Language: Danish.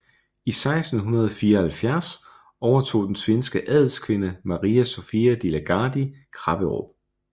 I 1674 overtog den svenske adelskvinde Maria Sofia de la Gardie Krapperup